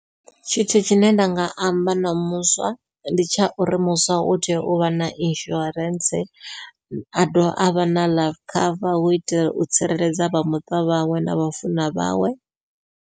Tshithu tshine nda nga amba na muswa ndi tsha uri muswa u tea uvha na insurance a dovha avha na life cover hu itela u tsireledza vha muṱa vhawe na vhafuna vhawe.